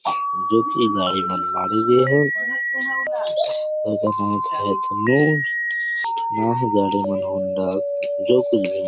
जो की गाड़ी मन ह मठाहे गए हे भरत हान लोन होंडा जो कुछ भी हे।